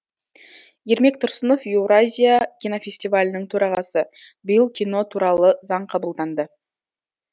ермек тұрсынов еуразия кинофестивалінің төрағасы биыл кино туралы заң қабылданды